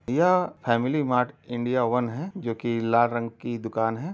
यह Family Mart India one है जोकि लाल रंग की दुकान है।